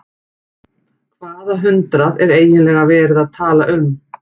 Hvaða hundrað er eiginlega verið að tala um?